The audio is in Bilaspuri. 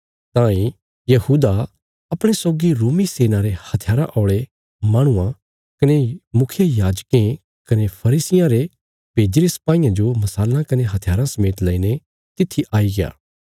तांई यहूदा अपणे सौगी रोमी सेना रे हथियारा औल़े माहणुआं कने मुखियायाजकें कने फरीसियां रे भेजीरे सपाईयां जो मशालां कने हथियाराँ समेत लईने तित्थी आईग्या